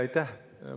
Aitäh!